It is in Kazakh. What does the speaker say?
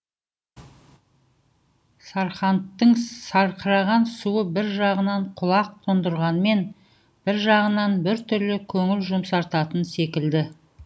сарқандтың сарқыраған суы бір жағынан құлақ тұндырғанмен бір жағынан біртүрлі көңіл жұмсартатын секілді